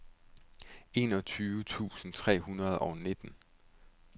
enogtyve tusind tre hundrede og nitten